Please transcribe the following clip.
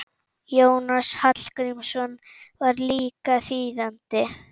Jónas Hallgrímsson var líka þýðandi.